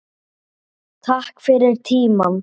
Takk fyrir tímann.